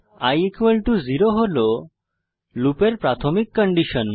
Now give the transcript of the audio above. i 0 হল লুপের প্রাথমিক কন্ডিশন